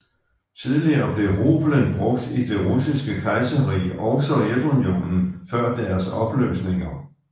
Tidligere blev rublen brugt i det Russiske Kejserrige og Sovjetunionen før deres opløsninger